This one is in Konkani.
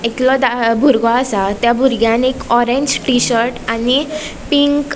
एकलों धा बुरगो आसा त्या बुरग्यान एक ऑरेंज टी-शर्ट आणि पिंक .